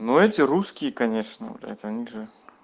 ну эти русские конечно блять они же